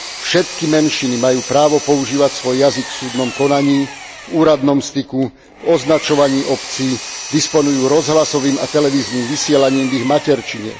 Všetky menšiny majú právo používať svoj jazyk v súdnom konaní, v úradnom styku, v označovaní obcí, disponujú rozhlasovým a televíznym vysielaním v ich materčine.